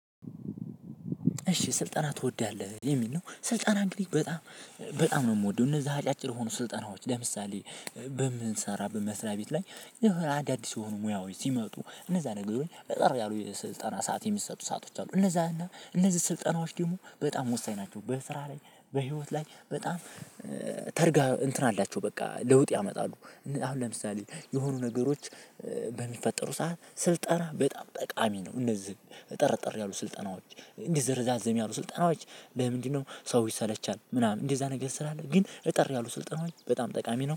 እሺ ስልጠና ትወዳለህ የሚል ነው። ስልጠና እንግዲህ በጣም በጣም ነው የምወደው እነዛ አጫጭር ሆኖ ስልጠናዎች ለምሳሌ። በምንሰራበት በመስሪያ ቤት ላይ። አዳዲስ የሆኑ ሙያዎች ሲመጡ እነዛ ነገሮች አጠር ያሉ ስልጠና ሰዓት የሚሰጡ ሰአቶች አሉ እነዛ እና እነዚህ ስልጠናዎች ደግሞ በጣም ወሳኝ ናቸው። በስራ ላይ በህይወት ላይ በጣም ተርጋ እንትን አላቸው በቃ ለውጥ ያመጣሉ። አሁን ለምሳሌ የሆኑ ነገሮች በሚፈጠሩ ሰዓት ስልጠና በጣም ጠቃሚ ነው። እነዚህ እጠረጠር ያሉ ስልጠናዎች ረዛዝም ያሉ ስልጠናዎች በምንድነው? ሰው ይሰለቻል ምናምን እንደዛ ነገር ስላለ ግን እጠር ያሉ ስልጠናዎች በጣም ጠቃሚ ነው